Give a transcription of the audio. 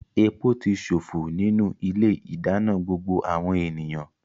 Epo ti ṣòfò nínú ilé-ìdáná gbogbo àwọn ènìyàn.